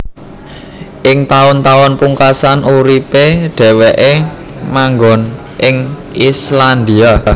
Ing taun taun pungkasan uripé dhèwèké manggon ing Islandia